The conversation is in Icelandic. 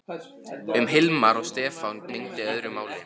Um Hilmar og Stefán gegndi öðru máli.